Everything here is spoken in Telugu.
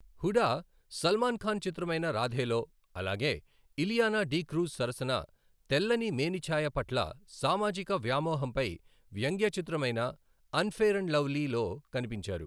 హూడా సల్మాన్ ఖాన్ చిత్రమైన రాధేలో, అలాగే ఇలియానా డి'క్రూజ్ సరసన తెల్లని మేనిఛాయ పట్ల సామాజిక వ్యామోహంపై వ్యంగ్య చిత్రమైన అన్ఫెయిర్ అండ్ లవ్లీలో కనిపించారు.